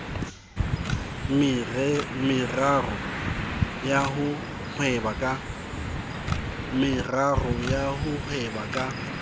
meraro ya ho hweba ka